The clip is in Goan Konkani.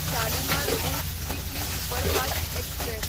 Shalimar Bhuj weekly superfast express